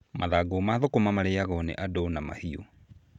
Mathangũ ma thũkũma marĩyagwo nĩ andũ na mahiũ.